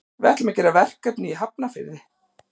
Við ætlum að gera verkefni í Hafnarfirði.